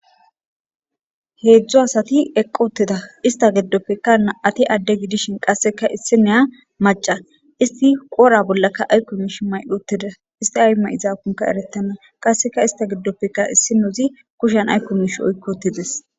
Heedzdzu asati eqoteda ista geddoppekka na'ati adde gidishin qasseka issi neya maca isti qora bollaka aykko miish maydoteda isti ay ma'izaakunka erettana qasseka ista giddoppeka issi nouzi kushan aykko mish oykkotides